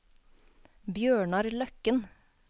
Bjørnar Løkken